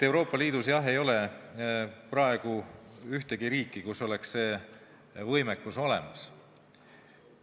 Euroopa Liidus, jah, ei ole praegu ühtegi riiki, kus oleks selline võimekus olemas.